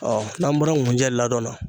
Ɔɔ n'an bɔra ŋunjɛ ladɔn na